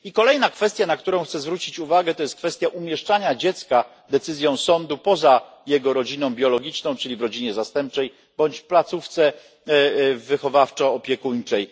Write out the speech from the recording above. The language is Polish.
Kolejna kwestia, na którą chcę zwrócić uwagę, to jest kwestia umieszczania dziecka decyzją sądu poza jego rodziną biologiczną, czyli w rodzinie zastępczej bądź placówce wychowawczo opiekuńczej.